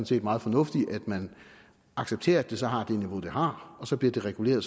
set meget fornuftigt at man accepterer at det så har det niveau det har og så bliver det reguleret